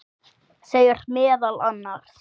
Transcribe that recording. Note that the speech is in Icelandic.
segir meðal annars